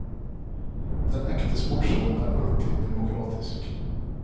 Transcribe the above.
Den ekte sportsånd er alltid demokratisk.